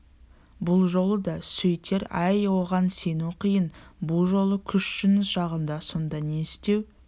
бұл жолы да сөйтер әй оған сену қиын бұ жолы күш жұныс жағында сонда не істеу